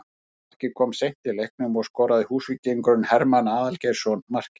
Sigurmarkið kom seint í leiknum og skoraði Húsvíkingurinn Hermann Aðalgeirsson markið